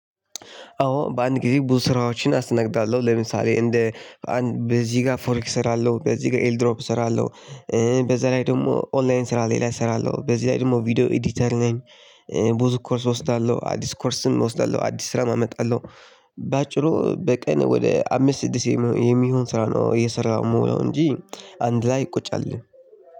አወ በአንድ ጊዜ ብዙ ስራወችን አስተናግዳለሁ ለምሳሌ እንደ በዚህ ጋ ፎሬክስ እሰራለሁ በዚህ ጋ ኤል ድሮፕ እሰራለሁ በዛ ላይ ደግሞ ኦንላይን ስራ ሌላ እሰራለሁ። በዚህ ላይ ደግሞ ቪዲዮ ኤዲተር ላይ ብዙ ኮርስ እወስዳለሁ። አዲስ ኮርስም እወስዳለሁ፣ አዲስ ስራም አመጣለሁ፣ በአጭሩ በቀን ወደ አምስት ስድስት የሚሆን ስራ ነው እየሰራው እምዉለው እንጂ አንድ ላይ ቁጭ አልልም